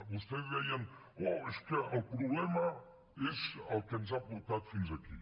vostès deien oh és que el problema és el que ens ha portat fins aquí